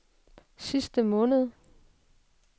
sidste måned